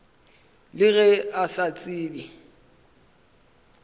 le ge a sa tsebe